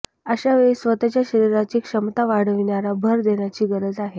अशावेळी स्वतःच्या शरीराची क्षमता वाढविण्यावर भर देण्याची गरज आहे